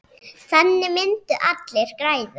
Þannig myndu allir græða.